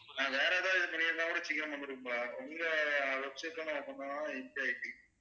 நான் வேற எதாவது பண்ணிருந்தா கூட சீக்கிரமா வந்துரும்ப்பா உங்க website